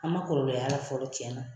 An ma kɔlɔlɔ y'a la fɔlɔ cɛn na.